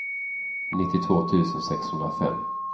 nittiotvå tusen sexhundrafem